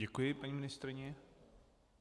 Děkuji paní ministryni.